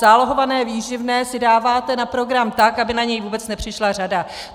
Zálohované výživné si dáváte na program tak, aby na něj vůbec nepřišla řada.